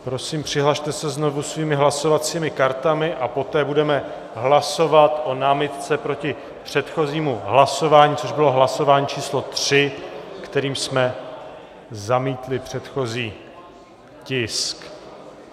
Prosím, přihlaste se znovu svými hlasovacími kartami a poté budeme hlasovat o námitce proti předchozímu hlasování, což bylo hlasování číslo 3, kterým jsme zamítli předchozí tisk.